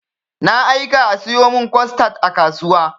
Na aika a sayo min costad a kasuwa.